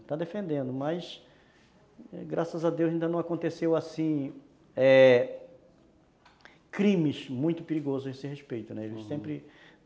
Está defendendo, mas, graças a Deus, ainda não aconteceu, assim, é... crimes muito perigosos a esse respeito, né,